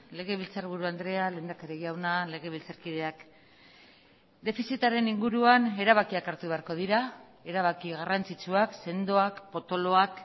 legebiltzarburu andrea lehendakari jauna legebiltzarkideak defizitaren inguruan erabakiak hartu beharko dira erabaki garrantzitsuak sendoak potoloak